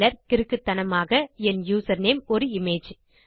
சிலர் கிறுக்குத்தனமாக என் யூசர்நேம் ஒரு இமேஜ்